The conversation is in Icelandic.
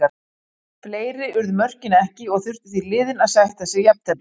Fleiri urðu mörkin ekki og þurftu því liðin að sætta sig jafntefli.